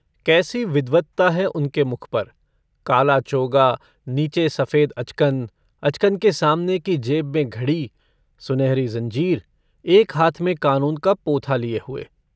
कैसी विद्वत्ता है उनके मुख पर - काला चोगा, नीचे सफेद अचकन, अचकन के सामने की जेब में घड़ी, सुनहरी ज़ंजीर, एक हाथ में कानून का पोथा लिए हुए।